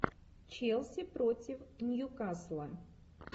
челси против ньюкасла